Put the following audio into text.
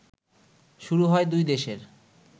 শুরু হয় দুই দেশের